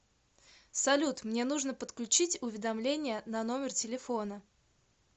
салют мне нужно подключить уведомление на номер телефона